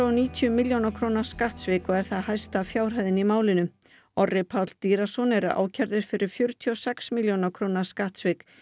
og níutíu milljóna króna skattsvik og eru það hæstu fjárhæðirnar í málinu Orri Páll er ákærður fyrir fjörutíu og sex milljóna króna skattsvik